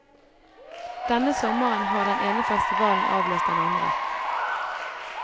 Denne sommeren har den ene festivalen avløst den andre.